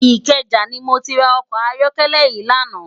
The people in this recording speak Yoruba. Ikeja ni mó ti rá òkò àyòkèlè yi làná